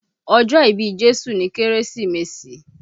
Ọjọ́ ìbí Jésù ni Kérésìmesì